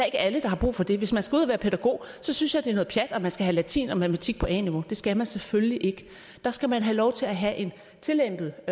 ikke alle der har brug for det hvis man skal ud at være pædagog synes jeg det er noget pjat at man skal have latin og matematik på a niveau det skal man selvfølgelig ikke der skal man have lov til at have en tillempet